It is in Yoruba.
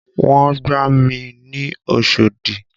Wọ́n gba mi ní Oṣòdì.